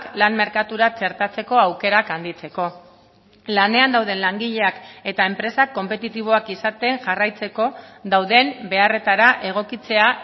lan merkatura txertatzeko aukerak handitzeko lanean dauden langileak eta enpresak konpetitiboak izaten jarraitzeko dauden beharretara egokitzea